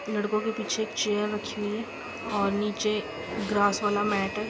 लड़कों के पीछे एक चेयर रखी हुई है और नीचे ग्ग्रा वाला मैट है।